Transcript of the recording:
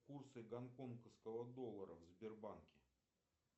курсы гонконгского доллара в сбербанке